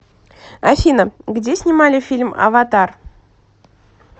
афина где снимали фильм аватар